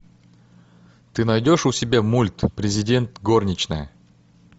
ты найдешь у себя мульт президент горничная